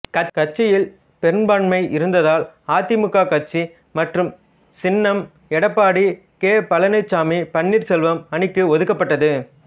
கட்சியில் பெரும்பான்மை இருந்ததால் அதிமுக கட்சி மற்றும் சின்னம் எடப்பாடி கே பழனிச்சாமிபன்னீர் செல்வம் அணிக்கு ஒதுக்கப்பட்டது